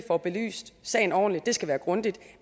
får belyst sagen ordentligt det skal være grundigt